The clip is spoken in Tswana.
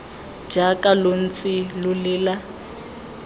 jaaka lo ntse lo lela